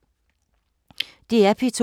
DR P2